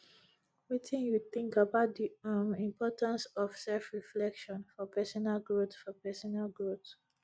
wetin you think about di um importance of selfreflection for personal growth for personal growth